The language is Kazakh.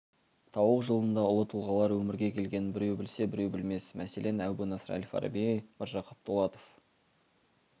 тауық жылында ұлы тұлғалар өмірге келгендігін біреу білсе біреу білмес мәселен әбу насыр әл-фараби міржақып дулатов